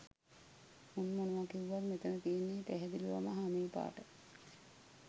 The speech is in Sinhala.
මුන් මොනව කිව්වත් මෙතන තියෙන්නෙ පැහැදිලිවම හමේ පාට